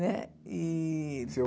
Né e... Seu